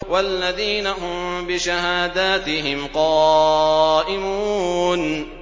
وَالَّذِينَ هُم بِشَهَادَاتِهِمْ قَائِمُونَ